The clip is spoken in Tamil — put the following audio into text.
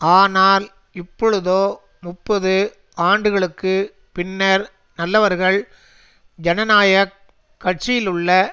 ஆனால் இப்பொழுதோ முப்பது ஆண்டுகளுக்கு பின்னர் நல்லவர்கள் ஜனநாயக கட்சியிலுள்ள